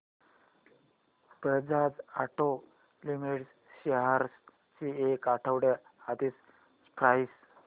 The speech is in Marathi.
बजाज ऑटो लिमिटेड शेअर्स ची एक आठवड्या आधीची प्राइस